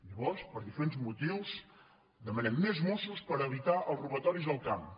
llavors per diferents motius demanem més mossos per evitar els robatoris al camp